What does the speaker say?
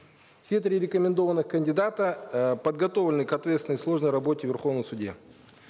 все три рекомендованных кандидата э подготовлены к ответственной сложной работе в верховном суде